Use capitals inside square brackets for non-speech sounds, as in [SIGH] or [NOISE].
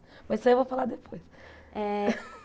Mas isso aí eu vou falar depois. Eh [LAUGHS]